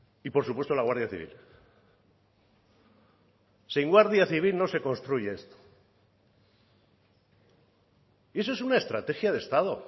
y por supuesto la guardia civil sin guardia civil no se construye esto y eso es una estrategia de estado